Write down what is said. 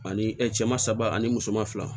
Ani cɛman saba ani musoman fila